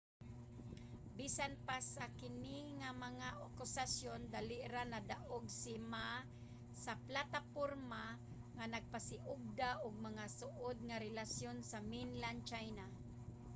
bisan pa sa kini nga mga akusasyon dali ra nadaog si ma sa plataporma nga nagpasiugda og mas suod nga relasyon sa mainland china